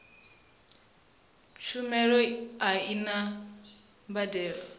tshumelo a i na mbadelo